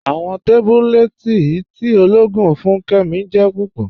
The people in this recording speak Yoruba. Awọn tábúlẹ̀tì tí ọlọ́ọ̀gùn fún Kẹ́mí jẹ́ púpọ̀.